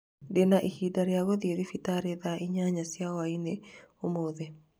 ndĩ na ihinda rĩa gũthiĩ thibitarĩ thaa inyanya cia hwaĩinĩ ũmũthĩ